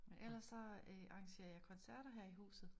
Men ellers så øh arrangerer jeg koncerter her i huset